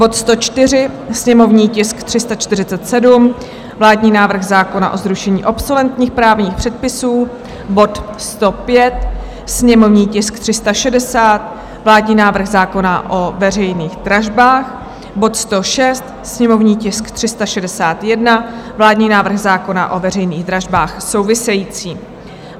bod 104, sněmovní tisk 347, vládní návrh zákona o zrušení obsoletních právních předpisů; bod 105, sněmovní tisk 360, vládní návrh zákona o veřejných dražbách; bod 106, sněmovní tisk 361, vládní návrh zákona o veřejných dražbách související.